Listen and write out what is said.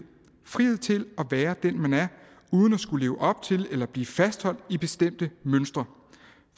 frihed til at være den man er uden at skulle leve op til eller blive fastholdt i bestemte mønstre